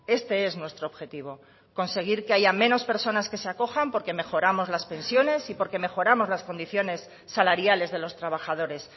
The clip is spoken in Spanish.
este es nuestro objetivo conseguir que haya menos personas que se acojan porque mejoramos las pensiones y porque mejoramos las condiciones salariales de los trabajadores